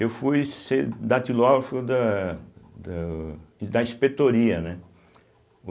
Eu fui ser datilógrafo da do da inspetoria, né.